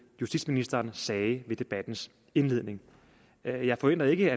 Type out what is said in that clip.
justitsministeren sagde ved debattens indledning jeg jeg forventer ikke